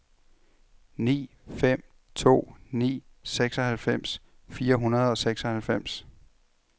ni fem to ni seksoghalvfems fire hundrede og seksoghalvfems